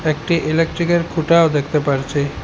একটি ইলেকট্রিকের খুঁটাও দেখতে পারছি।